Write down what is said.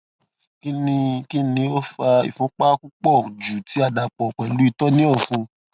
kini kini o fa ìfúnpá pupọ ju ti a dapọ pẹlu itọ ni ọfun